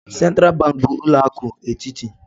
Sentral banki bu ulo akụ etiti.